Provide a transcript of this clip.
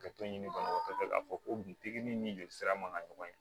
Ka t'o ɲini banabagatɔ fɛ k'a fɔ ko pikiri ni jolisira man ka ɲɔgɔn ye